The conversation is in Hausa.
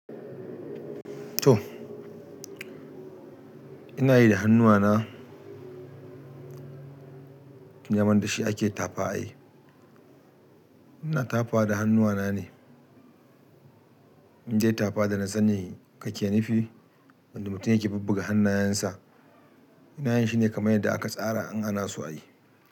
To, ina yi da hannuwa na. Daman da shi ake tapa i. Ina tafa da hannuwa na ne. In dai tapa da na sa ni kake nufi wanda mutum yake bubbuga hannayen sa. Ina yin shi ne kaman yadda aka tsara in ana so a yi.